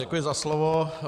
Děkuji za slovo.